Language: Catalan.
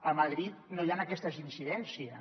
a madrid no hi han aquestes incidències